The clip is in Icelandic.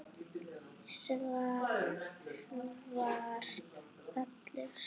Svavar allur.